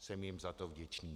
Jsem jim za to vděčný.